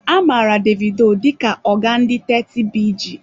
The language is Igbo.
Amara Davido dịka oga ndị 30BG.